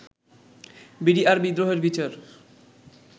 BDR বিদ্রোহের বিচার